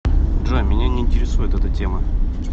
джой меня не интересует эта тема